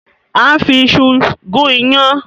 À ń fi iṣu gún iyán.